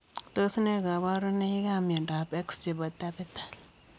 Tos nee kabarunoik ap miondoop x chepoo tapetal